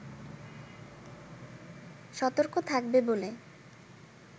সতর্ক থাকবে বলে